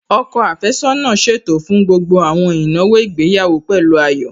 Ọkọ àfẹ́sọ́nà ṣètò fún gbogbo àwọn ìnáwó ìgbéyàwó pẹ̀lú ayọ̀